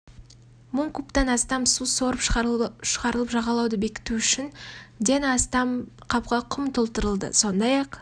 мың кубтан астам су сорып шығарылып жағалауды бекіту үшін ден астам қапқа құм толтырылды сондай-ақ